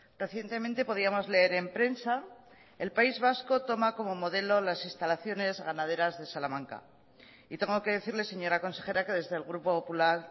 recientemente podíamos leer en prensa el país vasco toma como modelo las instalaciones ganaderas de salamanca y tengo que decirle señora consejera que desde el grupo popular